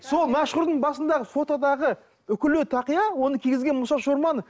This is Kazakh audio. сол мәшһүрдің басындағы фотодағы үкілі тақия оны кигізген мұса шорманов